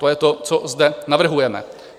To je to, co zde navrhujeme.